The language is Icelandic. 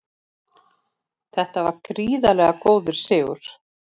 Þetta var gríðarlega góður sigur